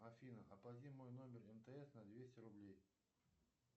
афина оплати мой номер мтс на двести рублей